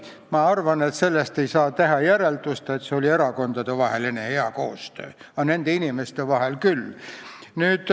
Minu arvates ei saa sellest teha järeldust, et seal oli erakondadevaheline hea koostöö, aga nende inimeste vahel oli see küll.